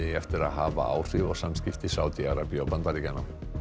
eftir að hafa áhrif á samskipti Sádi Arabíu og Bandaríkjanna